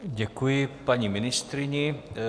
Děkuji paní ministryni.